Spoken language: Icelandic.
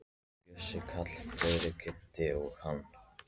Bjössi, Kalli, Frikki, Kiddi og hann.